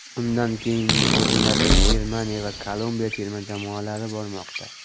Undan keyingi o‘rinlarda Germaniya va Kolumbiya terma jamoalari bormoqda.